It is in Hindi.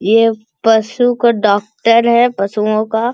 ये पशु का डॉक्टर है पशुओं का।